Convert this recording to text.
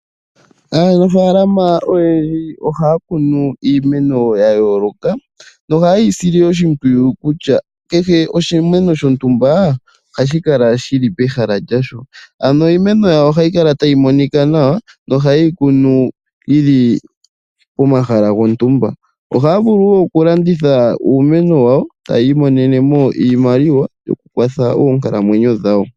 Aanafaalama oyendji ohaya kunu iimeno yayoolokathana nohayeyi sile oshimpwiyu kutya kehe oshimeno shontumba ohashi kala shili pehala lyasho . Ano iimeno yawo ohayi kala tayi monika nawa nohayeyi kunu yili pomahala gontumba, ohaya vulu okulanditha uumeno wawo. Ohaya imonenemo iimaliwa yokukwatha oonkalamwenyo dhawo.